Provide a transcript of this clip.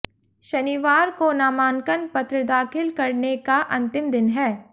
शनिवार को नामांकन पत्र दाखिल करने का अंतिम दिन है